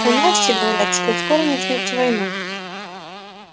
у нас все говорят что скоро начнётся война